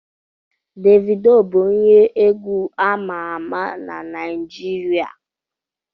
Davido bụ onye egwu ama ama na Naijiria